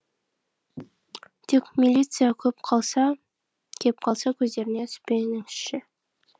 тек милиция көп қалса кеп қалса көздеріне түспеңізші